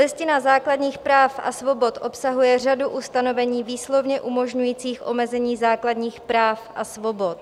Listina základních práv a svobod obsahuje řadu ustanovení výslovně umožňujících omezení základních práv a svobod.